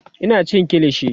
Ina cin kilishi